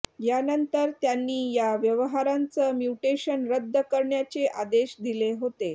यानंतर त्यांनी या व्यवहाराचं म्युटेशन रद्द करण्याचे आदेश दिले होते